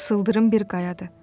Sıldırım bir qayadır.